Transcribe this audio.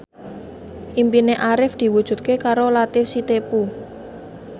impine Arif diwujudke karo Latief Sitepu